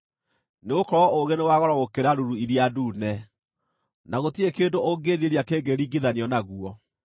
nĩgũkorwo ũũgĩ nĩ wa goro gũkĩra ruru iria ndune, na gũtirĩ kĩndũ ũngĩĩrirĩria kĩngĩringithanio naguo.